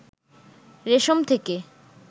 রেশম থেকে